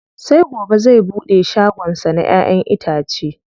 Sai gobe zai buɗe shagon sa na ƴa'ƴan itace.